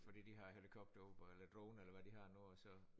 Fordi de har helikopter ude på eller er det droner eller hvad de har nu og så